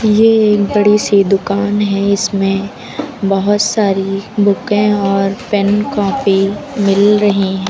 ये एक बड़ी सी दुकान है इसमें बहोत सारी बुके और पेन कॉपी मिल रही--